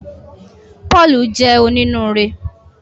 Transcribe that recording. Pọ́ọ̀lù jẹ́ onínúure